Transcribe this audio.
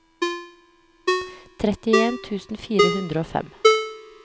trettien tusen fire hundre og fem